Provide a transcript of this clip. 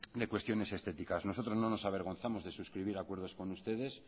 de cuestiones estéticas nosotros no nos avergonzamos de suscribir acuerdos con ustedes